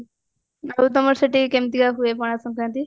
ଆଉ ତମର ସେଠି କେମତିକା ହୁଏ ପଣା ଶଙ୍କାରାନ୍ତି